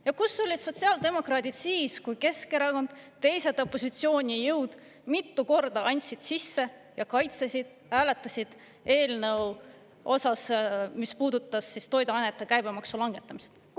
Ja kus olid sotsiaaldemokraadid siis, kui Keskerakond, teised opositsioonijõud mitu korda andsid sisse ja kaitsesid, hääletasid eelnõu osas, mis puudutas toiduainete käibemaksu langetamisest?